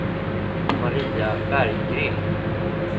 Maria Berggren